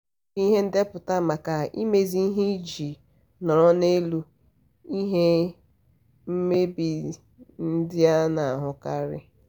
ọ na-eji ihe mkpuchi mmiri ekpuchi ohere ndị dị n'ezi iji chekwaba ya na mmiri ozuzu na ide mmiri.